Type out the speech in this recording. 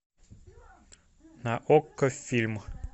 на окко фильм